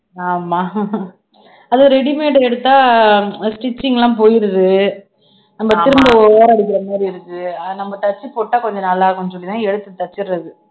ஆமா அதுவும் ready made எடுத்தா அஹ் stitching எல்லாம் போயிடுது நம்ம திரும்ப ஓரம் அடிக்கிற மாதிரி இருக்கு அது நம்ம தச்சு போட்டா கொஞ்சம் நல்லா இருக்கும்னு சொல்லித்தான் எடுத்து தச்சிடுறது